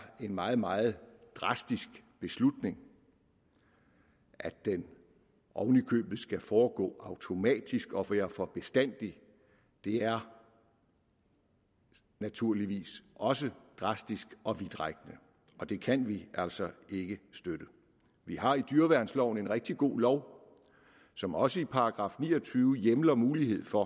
en meget meget drastisk beslutning at den oven i købet skal foregå automatisk og være for bestandig er naturligvis også drastisk og vidtrækkende og det kan vi altså ikke støtte vi har i dyreværnsloven en rigtig god lov som også i § ni og tyve hjemler mulighed for